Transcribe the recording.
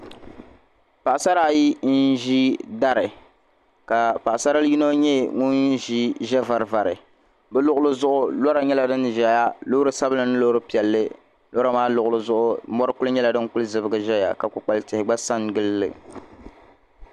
paɣ'sara ayi n-ʒi dari ka paɣasar'yino nyɛ ŋun ʒi ʒiɛ'varivari bɛ luɣili zuɣu lɔra nyɛla din ʒeya loori sabila ni loori piɛlli lɔra maa luɣili zuɣu mɔri kuli nyɛla din kuli zibigi ʒeya ka kukpal'tihi gba sa n-gili li